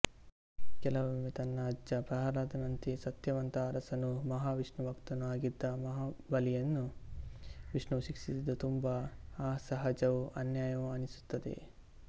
ಕೆಲವೊಮ್ಮೆ ತನ್ನ ಅಜ್ಜ ಪ್ರಹ್ಲಾದನಂತೆಯೇ ಸತ್ಯವಂತ ಅರಸನೂ ಮಹಾವಿಷ್ಣುಭಕ್ತನೂ ಆಗಿದ್ದ ಮಹಾಬಲಿಯನ್ನು ವಿಷ್ಣುವು ಶಿಕ್ಷಿಸಿದ್ದು ತುಂಬಾ ಅಸಹಜವೂ ಅನ್ಯಾಯವೂ ಅನಿಸುತ್ತದೆ